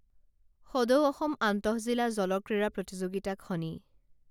সদৌ অসম আন্তঃজিলা জলক্ৰীড়া প্ৰতিযোগিতাখনি